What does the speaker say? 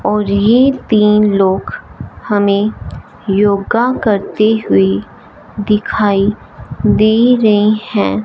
और ये तीन लोग हमें योगा करते हुए दिखाई दे रहे हैं।